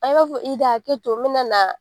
i b'a fɔ i da hakɛ to me nana